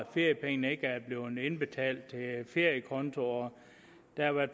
feriepengene ikke er blevet indbetalt til feriekonto og